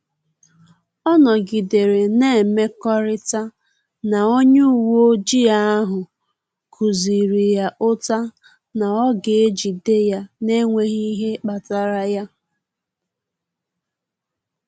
Ọ nọgidere na-emekọrịta na a onye uweojii ahụ kụziri ya ụta na ọ ga-ejide ya n’enweghị ihe kpatara y